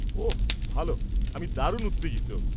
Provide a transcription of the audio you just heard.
ওহ, ভালো, আমি দারুণ উত্তেজিত।